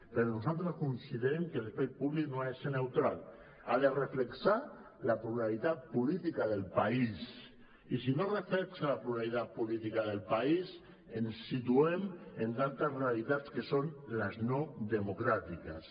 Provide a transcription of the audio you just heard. però nosaltres considerem que l’espai públic no ha de ser neutral ha de reflectir la pluralitat política del país i si no reflecteix la realitat política del país ens situem en altres realitats que són les no democràtiques